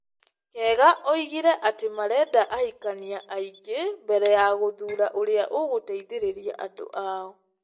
Kega oigire atĩ marenda ahikanĩa aingĩ mbere ya gũthuura ũrĩa ũgũteithĩrĩria andũ ao.